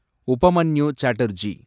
Upamanyu Chatterjee